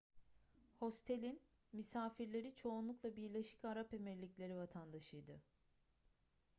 hostelin misafirleri çoğunlukla birleşik arap emirlikleri vatandaşıydı